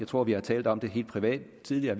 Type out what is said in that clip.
tror vi har talt om det helt privat tidligere